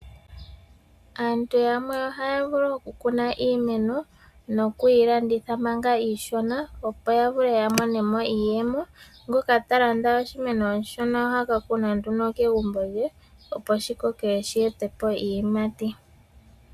Aantu yamwe ohaya vulu oku kuna iimeno nokuyi landitha manga iishona opo yavule ya monamo iiyemo. Ngoka talanda oshimeno oshishona ohaka kuna nduno kegumbo lye opo shikoke shi etepo iiyimati.